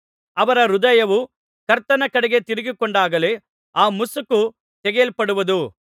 ಅವರ ಹೃದಯವು ಕರ್ತನ ಕಡೆಗೆ ತಿರುಗಿಕೊಂಡಾಗಲೇ ಆ ಮುಸುಕು ತೆಗೆಯಲ್ಪಡುವುದು